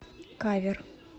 кавер